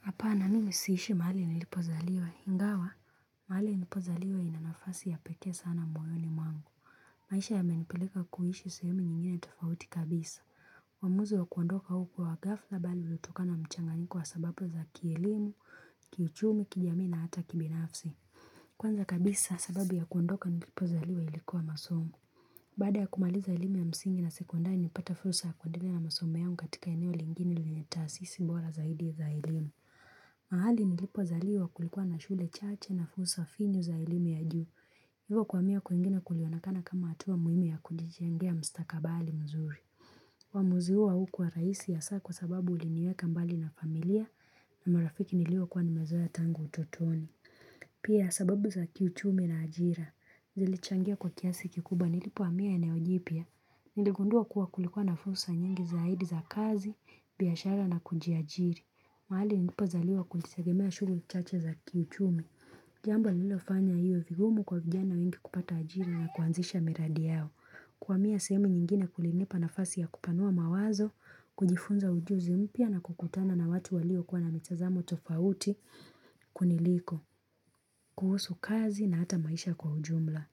Hapana mimi siishi mahali nilipozaliwa ingawa? Mahali nilipozaliwa ina nafasi ya pekee sana moyoni mwangu. Maisha yamenipileka kuishi sehemu nyingine tofauti kabisa. Uamuzi wa kuondoka huku kwa ghafla bali hutokana na mchanganyiko wa sababu za kielimu, kiuchumi, kijamii na hata kibinafsi. Kwanza kabisa sababu ya kuondoka nilipozaliwa ilikuwa masomo. Baada ya kumaliza elimu ya msingi na sekondari nilipata fursa ya kuendelea na masomo yangu katika eneo lingine lenye taasisi bora zaidi za elimu. Mahali nilipozaliwa kulikuwa na shule chache na fursa finyu za elimi ya juu Hivyo kuhamia kwingina kulionekana kama hatua muhimi ya kujijengea mustakabali mzuri. Uamuzi huo haukuwa rahisi hasaa kwa sababu ulinieka mbali na familia na marafiki niliokuwa nimezoa tangu utotoni. Pia sababu za kiuchumi na ajira Zilichangia kwa kiasi kikubwa nilipohamia eneo jipya, Niligundua kuwa kulikuwa na fursa nyingi zaidi za kazi, biashara na kujiajiri. Mahali nilipozaliwa kulitegemea shughuli chache za kiuchumi. Jambo lililofanya hiyo vigumu kwa vijana wengi kupata ajira na kuanzisha miradi yao. Kuhamia sehemu nyingine kulinipa nafasi ya kupanua mawazo, kujifunza ujuzi mpya na kukutana na watu waliokuwa na mitazamo tofauti kuniliko, kuhusu kazi na hata maisha kwa ujumla.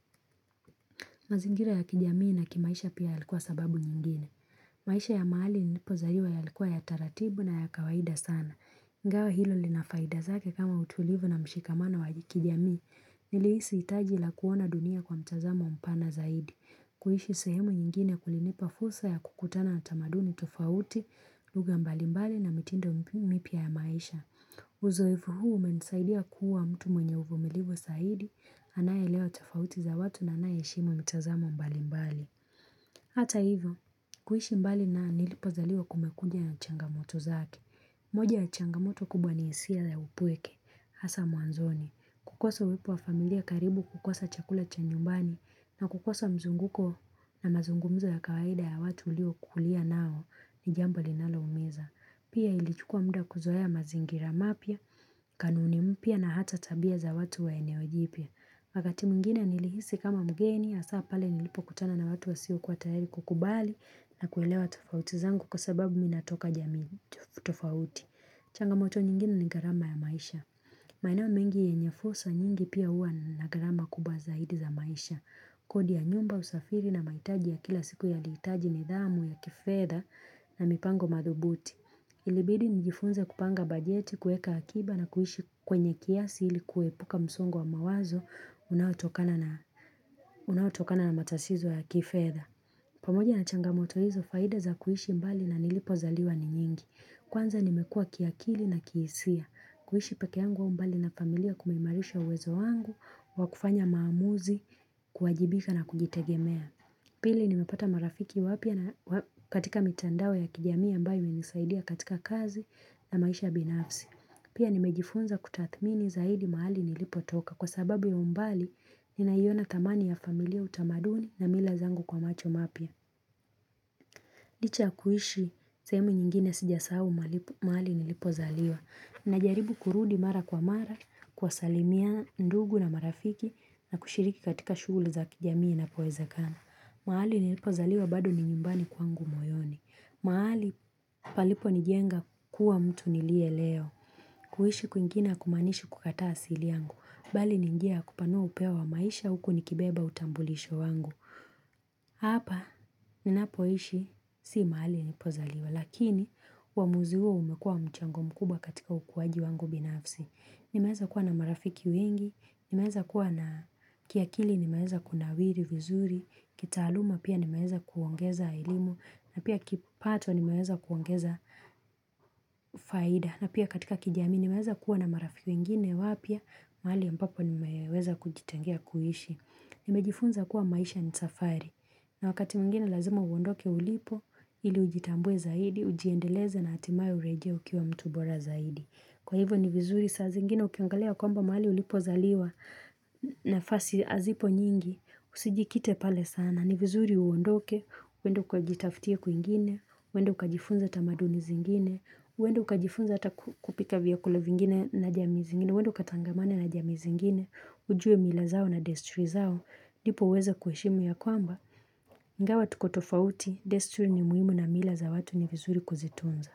Mazingira ya kijamii na kimaisha pia yalikuwa sababu nyingine. Maisha ya mahali nilipozaliwa yalikuwa ya utaratibu na ya kawaida sana. Ingawa hilo lina faida zake kama utulivu na mshikamana wa kijamii. Nilihisi hitaji la kuona dunia kwa mtazamo mpana zaidi. Kuishi sehemu nyingine kulinipa fursa ya kukutana na tamaduni tofauti, lugha mbalimbali na mitindo mipya ya maisha. Uzoevu huu umenisaidia kuwa mtu mwenye uvumilivu zaidi, anayeelewa tofauti za watu na anaye shimo mtazamo mbalimbali. Hata hivyo, kuishi mbali na nilipozaliwa kumekuja na changamoto zaki. Moja ya changamoto kubwa ni hisia za upweke, hasa mwanzoni. Kukosa uwepo wa familia karibu kukosa chakula cha nyumbani na kukosa mzunguko na mazungumza ya kawaida ya watu uliokulia nao ni jambo linaloumeza. Pia ilichukua muda kuzoea mazingira mapya, kanuni mpya na hata tabia za watu wa eneo jipya. Wakati mwingine nilihisi kama mgeni hasaa pale nilipokutana na watu wasiokuwa tayari kukubali na kuelewa tofauti zangu kwa sababu mi natoka jamii tofauti. Changamoto nyingine ni gharama ya maisha. Maeneo mengi yenye fursa nyingi pia huwa na gharama kubwa zaidi za maisha. Kodi ya nyumba usafiri na mahitaji ya kila siku yalihitaji nidhamu ya kifedha na mipango madhubuti. Ilibidi nijifunze kupanga bajeti, kueka akiba na kuishi kwenye kiasi ili kuepuka msongo wa mawazo unaotokana na matatizo ya kifedha. Pamoja na changamoto hizo faida za kuishi mbali na nilipozaliwa ni nyingi. Kwanza nimekua kiakili na kihisia. Kuishi pekee yangu au mbali na familia kumeimarisha uwezo wangu wa kufanya maamuzi kuajibika na kujitegemea. Pili nimepata marafiki wapya katika mitandao ya kijamii ambayo imenisaidia katika kazi na maisha binafsi. Pia nimejifunza kutathmini zaidi mahali nilipotoka kwa sababu ya umbali ninaiona thamani ya familia utamaduni na mila zangu kwa macho mapya. Licha ya kuishi sehemu nyingine sijasahau mahali nilipozaliwa. Najaribu kurudi mara kwa mara, kuwasalimia ndugu na marafiki na kushiriki katika shughulu za kijamii inapoezekano. Mahali nilipozaliwa bado ni nyumbani kwangu moyoni. Mahali paliponijenga kuwa mtu niliye leo. Kuishi kwingine hakumaanishi kukataa asili yangu. Bali ni njia ya kupanua upeo wa maisha huku nikibeba utambulisho wangu. Hapa ninapoishi si mahali nilipozaliwa lakini uamuzi huo umekua mchango mkubwa katika ukuwaji wangu binafsi. Nimeweza kuwa na marafiki wengi, nimeweza kuwa na kiakili nimeweza kunawiri vizuri, kital auma pia nimeza kuongeza elimu na pia kipato nimeweza kuongeza faida na pia katika kijamii nimeweza kuwa na marafiki wengine wapya mahali ambapo nimeweza kujitengea kuishi Nimejifunza kuwa maisha ni safari na wakati mwingine lazima uondoke ulipo ili ujitambue zaidi ujiendeleze na hatimaye urejee ukiwa mtu bora zaidi. Kwa hivyo ni vizuri saa zingine ukiongelea kwamba mahali ulipozaliwa nafasi hazipo nyingi usijikite pale sana. Ni vizuri uondoke, uende ukajitaftie kwingine, uende ukajifunze tamaduni zingine, uende ukajifunze hata kupika vyakula vingine na jamii zingine, uende ukatangamane na jamii zingine. Ujue mila zao na desturi zao ndipo uweze kuheshimu ya kwamba Ingawa tuko tofauti desturi ni muhimu na mila za watu ni vizuri kuzitunza.